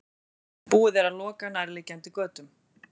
Búið er að loka nærliggjandi götum